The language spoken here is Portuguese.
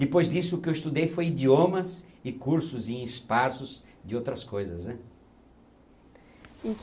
Depois disso, o que eu estudei foi idiomas e cursos em espaços de outras coisas né.